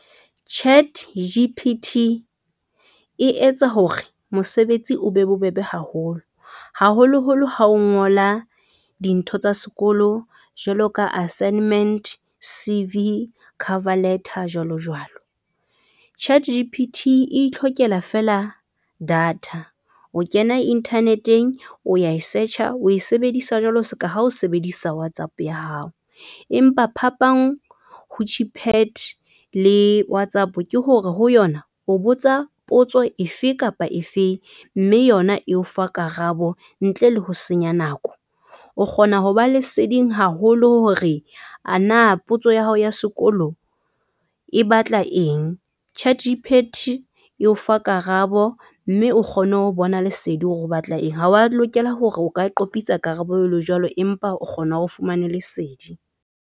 ChatG_ P_ T e etsa hore mosebetsi o be bobebe haholo, haholo holo ha o ngola dintho tsa sekolo jwalo ka assignment, C_V, cover letter jwalo, jwalo. ChatG_ P_ T e ithlokela fela data, o kena internet-eng, o ya e search-a o e sebedisa jwalo ska ha o sebedisa WhatsApp ya hao, empa phapang ho le WhatsApp ke hore ho yona o botsa potso efe kapa efeng mme yona eo fa karabo ntle le ho senya nako. O kgona ho ba leseding haholo hore a na potso ya hao ya sekolo e batla eng. E o fa karabo mme o kgone ho bona lesedi hore o batla eng. Ha wa lokela hore o ka qopitsa karabo e le jwalo empa o kgona o fumane lesedi.